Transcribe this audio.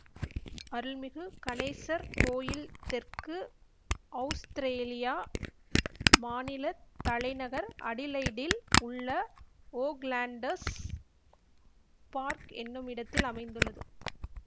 அருள்மிகு கணேசர் கோயில் தெற்கு அவுஸ்திரேலியா மாநில தலைநகர் அடிலெயிடில் உள்ள ஓக்லண்ட்ஸ் பார்க் என்னும் இடத்தில் அமைந்துள்ளது